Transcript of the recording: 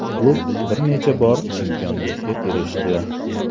Klub bir necha bor chempionlikka erishdi.